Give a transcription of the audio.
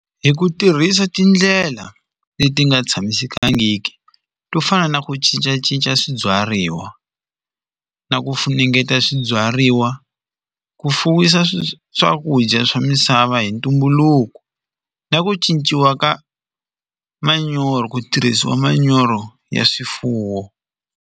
Hi ku tirhisa tindlela leti nga tshamisekangiki to fana na ku cincacinca swibyariwa na ku funengeta swibyariwa ku fuwisa swakudya swa misava hi ntumbuluko na ku cinciwa ka manyoro ku tirhisiwa manyoro ya swifuwo.